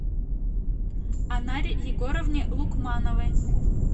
анаре егоровне лукмановой